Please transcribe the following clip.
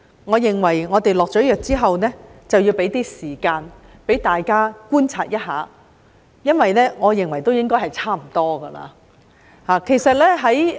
我認為我們下藥之後，要給予大家一些時間觀察，因為我認為應該已差不多了。